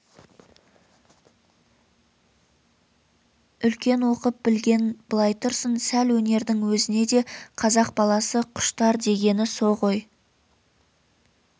үлкен оқып білген былай тұрсын сәл өнердің өзіне де қазақ баласы құштар дегені со ғой